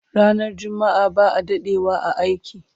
Ranar jumma'a ba'a dadewa a aiki